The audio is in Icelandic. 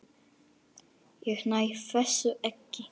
Ég næ þessu ekki.